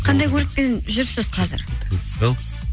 қандай көлікпен жүрсіз қазір ау